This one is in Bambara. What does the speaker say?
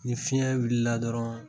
Ni fiɲɛ wulila dɔrɔn